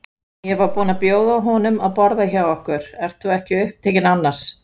Ég var búin að bjóða honum að borða hjá okkur- ert þú ekki upptekinn annars?